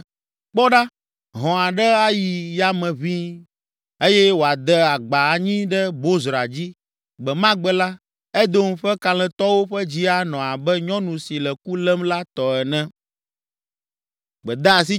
Kpɔ ɖa! Hɔ̃ aɖe ayi yame ʋĩi, eye wòade agba anyi ɖe Bozra dzi. Gbe ma gbe la, Edom ƒe kalẽtɔwo ƒe dzi anɔ abe nyɔnu si le ku lém la tɔ ene.